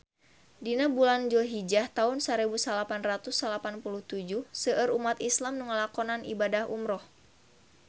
Dina bulan Dulhijah taun sarebu salapan ratus salapan puluh tujuh seueur umat islam nu ngalakonan ibadah umrah